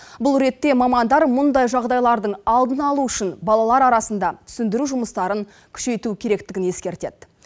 бұл ретте мамандар мұндай жағдайлардың алдын алу үшін балалар арасында түсіндіру жұмыстарын күшейту керектігін ескертеді